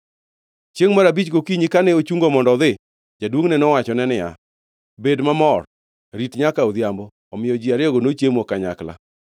Chiengʼ mar abich gokinyi, kane ochungo mondo odhi, jaduongʼne nowachone niya, “Bed mamor. Rit nyaka odhiambo!” Omiyo ji ariyogo nochiemo kanyakla.